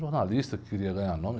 Jornalistas que queriam ganhar nome.